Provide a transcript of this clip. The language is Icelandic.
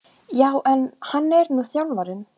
Já en. hann er nú þjálfarinn!